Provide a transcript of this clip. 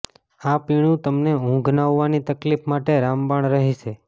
આ પીણું તમને ઊંઘ ન આવવાની તકલીફ માટે રામબાણ રહેશે